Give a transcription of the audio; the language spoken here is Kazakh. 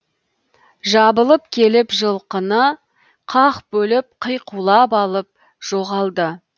жабылып келіп жылқыны қақ бөліп қиқулап алып жоғалды